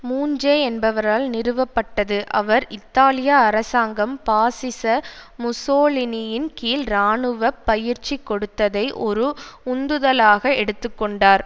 மூஞ்சே என்பவரால் நிறுவப்பட்டது அவர் இத்தாலிய அரசாங்கம் பாசிச முசோலினியின் கீழ் இராணுவ பயிற்சி கொடுத்ததை ஒரு உந்துதலாக எடுத்து கொண்டார்